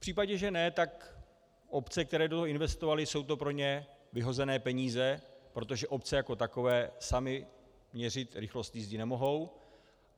V případě, že ne, tak obce, které do toho investovaly, jsou to pro ně vyhozené peníze, protože obce jako takové samy měřit rychlost jízdy nemohou.